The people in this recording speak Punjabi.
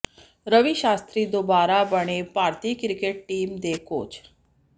ਰਵੀ ਸ਼ਾਸ਼ਤਰੀ ਦੁਬਾਰਾ ਬਣੇ ਭਾਰਤੀ ਕ੍ਰਿਕਟ ਟੀਮ ਦੇ ਕੋਚ